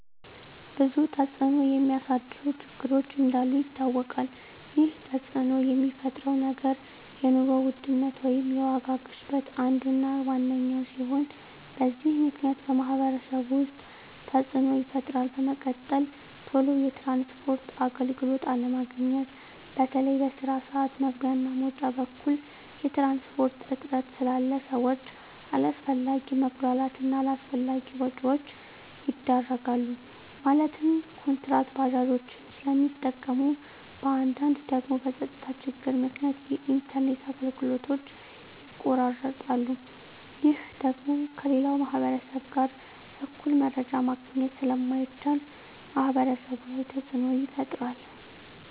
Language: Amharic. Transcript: ብዙ ተፅዕኖ የሚያሳድሩ ችግሮች እንዳሉ ይታወቃል ይህ ተፅዕኖ የሚፈጥረው ነገር የኑሮ ውድነት ወይም የዋጋ ግሽበት አንዱ እና ዋነኛው ሲሆን በዚህ ምክንያት በማህበረሰቡ ውስጥ ተፅዕኖ ይፈጥራል በመቀጠል ቶሎ የትራንስፖርት አገልግሎት አለማግኘት በተለይ በስራ ስዓት መግቢያ እና መውጫ በኩል የትራንስፖርት እጥረት ስላለ ሰዎች አላስፈላጊ መጉላላት እና አላስፈላጊ ወጪዎች ይዳረጋሉ ማለትም ኩንትራት ባጃጆችን ስለሚጠቀሙ በአንዳንድ ደግሞ በፀጥታ ችግር ምክንያት የኢንተርኔት አገልግሎቶች ይቋረጣሉ ይህ ደግሞ ከሌላው ማህበረሰብ ጋር እኩል መረጃ ማግኘት ስለማይቻል ማህበረሰቡ ላይ ተፅዕኖ ይፈጥራል